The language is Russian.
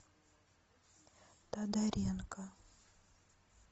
тодоренко